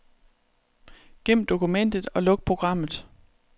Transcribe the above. Gem dokumentet og luk programmet.